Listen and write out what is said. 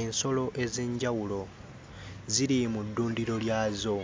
Ensolo ez'enjawulo ziri mu ddundiro lyazo